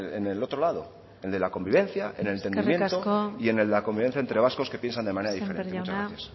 en el otro lado en el de la convivencia en el del entendimiento y en del la convivencia entre vascos que piensan de manera diferente muchas gracias eskerrik asko sémper jauna